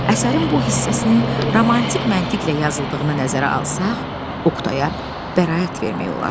Əsərin bu hissəsinin romantik məntiqlə yazıldığını nəzərə alsaq, Oqtaya bəraət vermək olar.